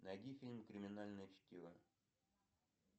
найди фильм криминальное чтиво